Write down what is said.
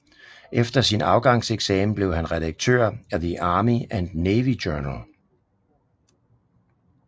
Efter sin afgangseksamen blev han redaktør af The Army and Navy Journal